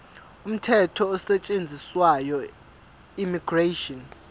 umthetho osetshenziswayo immigration